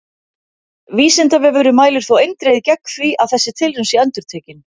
Vísindavefurinn mælir þó eindregið gegn því að þessi tilraun sé endurtekin!